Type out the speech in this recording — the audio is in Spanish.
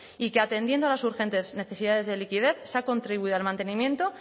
y que atendiendo a las urgentes necesidades de liquidez se ha contribuido al mantenimiento